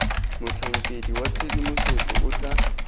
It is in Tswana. motlhankedi wa tshedimosetso o tla